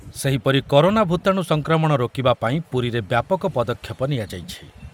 ସେହିପରି କରୋନା ଭୂତାଣୁ ସଂକ୍ରମଣ ରୋକିବା ପାଇଁ ପୁରୀରେ ବ୍ୟାପକ ପଦକ୍ଷେପ ନିଆଯାଇଛି ।